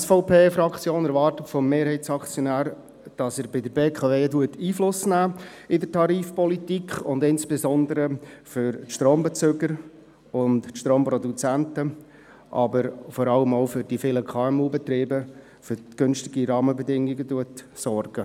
Die SVP-Fraktion erwartet vom Mehrheitsaktionär, dass er bei der BKW auf die Tarifpolitik Einfluss nimmt und insbesondere für Strombezüger und Stromproduzenten, aber auch für die vielen KMUBetriebe für günstige Rahmenbedingungen sorgt.